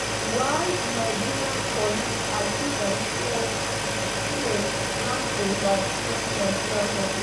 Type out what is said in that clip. why di nigerian police accuse am say im dey plan to overthrow nigeria goment.